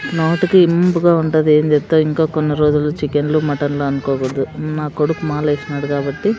నోటికి ఇంపుగా ఉంటది ఏం చేత్తాం ఇంకా కొన్ని రోజులు చికెన్ లు మటన్ లు అన్కోకూడదు నా కొడుకు మాలేస్నాడు కాబట్టి.